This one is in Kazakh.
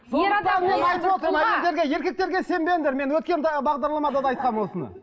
еркектерге сенбеңдер мен өткен бағдарламада да айтқанмын осыны